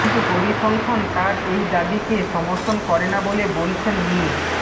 কিন্তু পরিসংখ্যান তার এই দাবিকে সমর্থন করে না বলে বলছেন মি